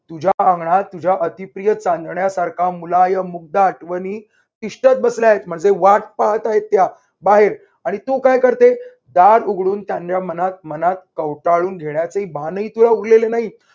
तुझ्या अंगणात तुझ्या अतिप्रिय चांदण्यासारख्या मुलायम मुग्ध आठवणी तिष्ठत बसला आहेत म्हणजे वाट पाहत आहेत. त्या बाहेर आणि तू काय करते? दार उघडून त्यांच्या मनात मनात कौटाळून घेण्याचे भानही तुला उरलेले नाही.